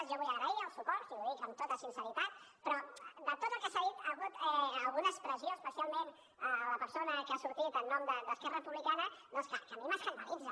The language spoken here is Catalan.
jo vull agrair el suport i ho dic amb tota sinceritat però de tot el que s’ha dit hi ha hagut alguna expressió especialment la persona que ha sortit en nom d’esquerra republicana doncs que a mi m’escandalitza